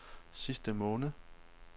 sidste måned